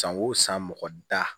San o san mɔgɔ da